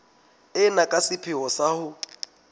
ena ka sepheo sa ho